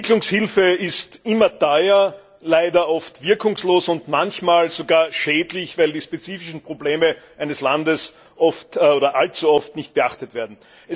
Entwicklungshilfe ist immer teuer, leider oft wirkungslos und manchmal sogar schädlich, weil die spezifischen Probleme eines Landes oft oder allzu oft nicht behandelt werden.